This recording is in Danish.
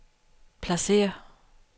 pladsér